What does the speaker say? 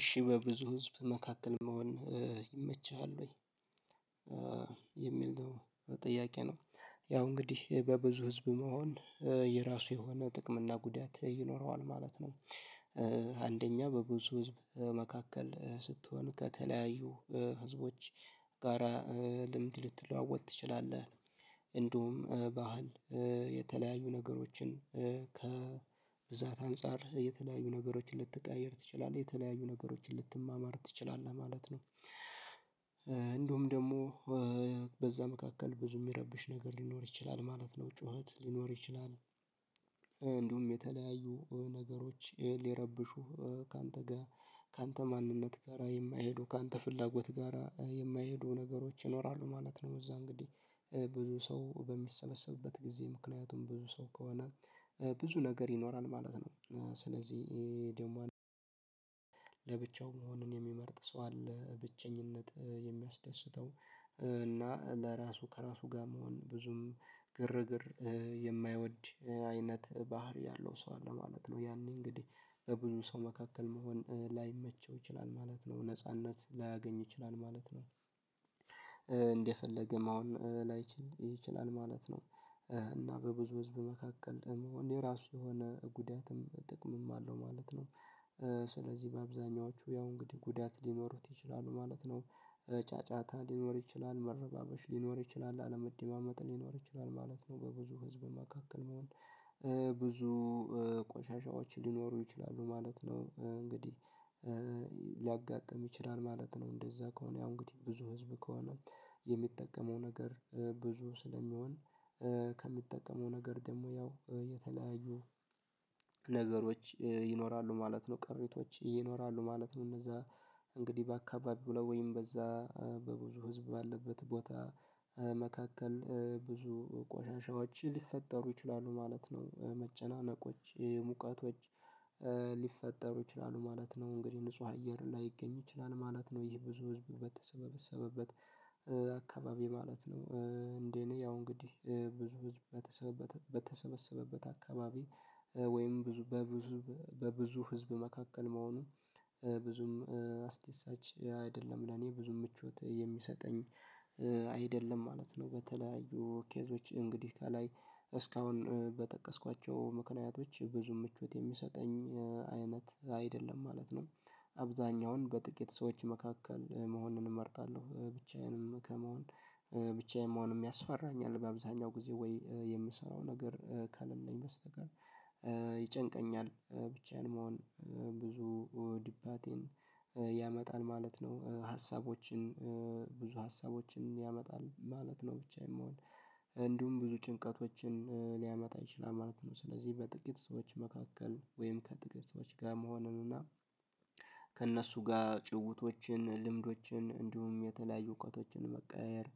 እሺ በብዙ ህዝብ መካከል መሆን ይመችሃል ወይ? የሚል ነው ጥያቄ ነው ያው እንግዲህ በብዙ ህዝብ መሆን የራሱ የሆነ ጥቅም እና ጉዳት ይኖረዋል ማለት ነው። አንደኛ በብዙ ህዝብ መካከል ስትሆን ከተለያዩ ህዝቦች ጋራ ልምድ ልትለዋወጥ ትችላለህ። እንዲሁም ባህል የተለያዩ ነገሮችን ከብዛት አንፃር የተለያዩ ነገሮችን ልትቀያየር ትችላለህ የተለያዩ ነገሮችን ልትማማር ትችላለህ ማለት ነው። እንደውም ደግሞ በዛ መካከል ብዙ የሚረብሽ ነገር ሊኖር ይችላል ማለት ነው ጩኸት ሊኖር ይችላል። እንደውም የተለያዩ ነገሮች ሊረብሹ ካንተ ጋር ካንተ ማንነት ጋር የማይሄዱ ካንተ ፍላጎት ጋራ የማይሄዱ ነገሮች ይኖራሉ ማለት ነው። እዛ እንግዲህ ብዙ ሰው በሚሰበሰብበት ጊዜ ምክንያቱም ብዙ ሰው ከሆነ ብዙ ነገር ይኖራል ማለት ነው። ስለዚህ ይሄ ደግሞ መሆንን የሚመርጥ ሰው አለ ብቸኝነት የሚያስደስተው እና ለራሱ ከራሱ ጋር መሆን ብዙም ግርግር የማይወድ አይነት ባህሪ ያለው ሰው አለ ማለት ነው። ያኔ እንግዲህ በብዙ ሰው መካከል መሆን ላይመቸው ይችላል ማለት ነው ነጻነት ላያገኝ ይችላል ማለት ነው። እንደፈለገ መሆን ላይችል ይችላል ማለት ነው። እና በብዙ ህዝብ መካከል የመሆን የራሱ የሆነ ጉዳትም ጥቅምም አለው ማለት ነው። ስለዚህ በአብዛኞቹ ያው እንግዲህ ጉዳት ሊኖሩት ይችላሉ ማለት ነው። ብቸኝነት የሚያስደስተው እና ለራሱ ከራሱ ጋር መሆን ብዙም ግርግር የማይወድ አይነት ባህሪ ያለው ሰው አለ ማለት ነው። ያኔ እንግዲህ በብዙ ሰው መካከል መሆን ላይመቸው ይችላል ማለት ነው። ነጻነት ላያገኝ ይችላል ማለት ነው እንደፈለገም አሁን ላይችል ይችላል ማለት ነው። እና በብዙ ህዝብ መካከል የመሆን የራሱ የሆነ ጉዳትም ጥቅምም አለው ማለት ነው። ሊያጋጥም ይችላል ማለት ነው። እንደዛ ከሆነ ያው እንግዲህ ብዙ ህዝብ ከሆነ የሚጠቀመው ነገር ብዙ ስለሚሆን ከሚጠቀመው ነገር ደግሞ ያው የተለያዩ ነገሮች ይኖራሉ ማለት ነው። ቅሪቶች ይኖራሉ ማለት ነው። እነዛ እንግዲህ በአካባቢው ላይ ወይም በዛ በብዙ ህዝብ ባለበት ቦታ መካከል ብዙ ቆሻሻዎች ሊፈጠሩ ይችላሉ ማለት ነው። መጨናነቆች ሙቀቶች ሊፈጠሩ ይችላሉ ማለት ነው። እንግዲህ ንጹህ አየር ላይገኝ ይችላል ማለት ነው። ይህ ብዙ ህዝብ በተሰበሰበበት አካባቢ ማለት ነው። እንደ እኔ ያው እንግዲህ ብዙ ህዝብ በተሰበሰበት አካባቢ ወይም ብዙ በብዙ በብዙ ህዝብ መካከል መሆኑን ብዙም አስደሳች አይደለም ለኔ ብዙ ምቾት የሚሰጠኝ አይደለም ማለት ነው። በተለያዩ ኬዞች እንግዲህ ከላይ እስካሁን በጠቀስኳቸው ምክንያቶች ብዙ ምቾት የሚሰጠኝ አይነት አይደለም ማለት ነው። አብዛኛውን በጥቂት ሰዎች መካከል መሆንን እመርጣለሁ ብቻዬንም ከመሆን ብቻዬንም መሆን ያስፈራኛል በአብዛኛው ጊዜ ወይ የምሰራው ነገር ከሌለኝ በስተቀር ይጨንቀኛል ብቻዬን መሆን ብዙ ድባቴን ያመጣል ማለት ነው። ሀሳቦችን ብዙ ሀሳቦችን ያመጣል ማለት ነው። ብቻዬን መሆን እንዲሁም ብዙ ጭንቀቶችን ሊያመጣ ይችላል ማለት ነው። ስለዚህ በጥቂት ሰዎች መካከል ወይም ከጥቂት ሰዎች ጋር መሆኑን እና ከእነሱ ጋር ጭዉውቶችን ልምዶችን እንዲሁም የተለያዩ እውቀቶችን መቀያየር